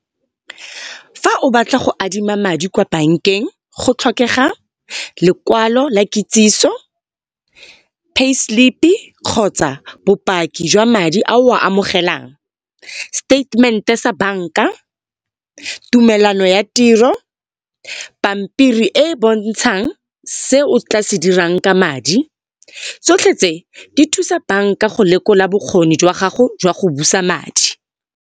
Fa o batla go adima madi kwa bankeng go tlhokega, lekwalo la kitsiso, pay slip-i kgotsa bopaki jwa madi a o a amogelang. Seteitemente sa banka, tumelano ya tiro, pampiri e e bontshang se o tla se dirang ka madi. Tsotlhe tse di thusa banka go lekola bokgoni jwa gago jwa go busa madi.